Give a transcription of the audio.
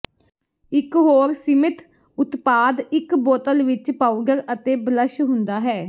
ਇੱਕ ਹੋਰ ਸੀਮਿਤ ਉਤਪਾਦ ਇੱਕ ਬੋਤਲ ਵਿੱਚ ਪਾਊਡਰ ਅਤੇ ਬਲਸ਼ ਹੁੰਦਾ ਹੈ